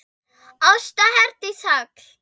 Ásta Herdís Hall.